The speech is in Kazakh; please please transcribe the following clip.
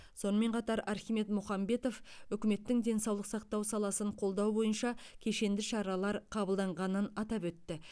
сонымен қатар архимед мұхамбетов үкіметтің денсаулық сақтау саласын қолдау бойынша кешенді шаралар қабылданғанын атап өтті